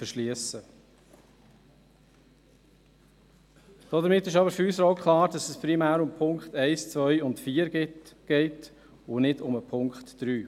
Damit ist für uns auch klar, dass es primär um die Punkte 1, 2 und 4 geht und nicht um den Punkt 3.